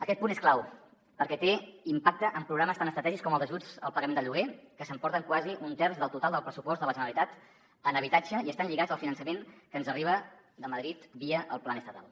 aquest punt és clau perquè té impacte en programes tan estratègics com els ajuts al pagament del lloguer que s’emporten quasi un terç del total del pressupost de la generalitat en habitatge i estan lligats al finançament que ens arriba de madrid via el plan estatal